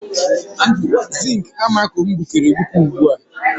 Zink amako m gbukere egbuke ugbu a.